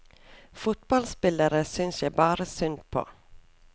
Fotballspillere synes jeg bare synd på.